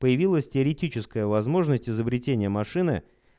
появилась теоретическая возможность изобретение машины